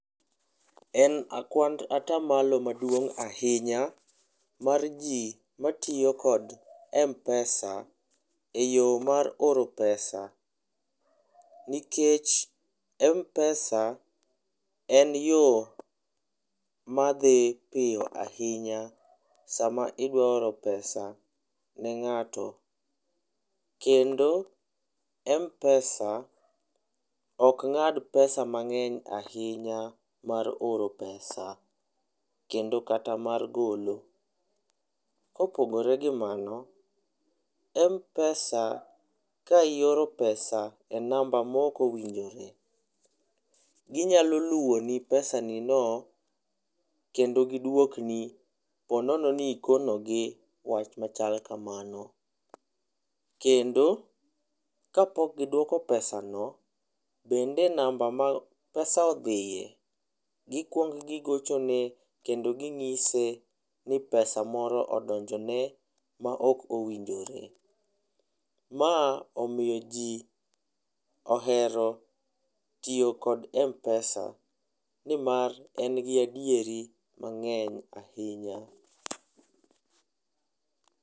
En kwand atamalo maduong ahinya mar jii matiyo gi Mpesa eyo mar oro pesa nikech Mpesa en yoo madhi piyo ahinya sama idwa oro pesa ne ngato. Kendo Mpesa ok ngad pesa mangeny ahinya mar oro pesa kendo kata mar gole. Kopogore gi mano, Mpesa ka ioro pesa e namba maok owinjore, ginyalo luwoni pesani no kendo giduok ni ka ponono ni ikonogi wach machal makamano. Kendo kapok giduok pesano, kendo namba ma pesano odhiye, gikuong gigochone kendo ginyise ni pesa moro odonjone maok owinjore. Ma omiyo jii ohero tiyo kod Mpesa nimar en gi adieri mangeny ahinya